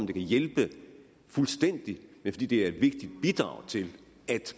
kan hjælpe fuldstændig men fordi det er et vigtigt bidrag til at